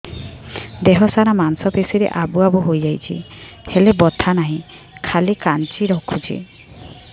ଦେହ ସାରା ମାଂସ ପେଷି ରେ ଆବୁ ଆବୁ ହୋଇଯାଇଛି ହେଲେ ବଥା ନାହିଁ ଖାଲି କାଞ୍ଚି ରଖୁଛି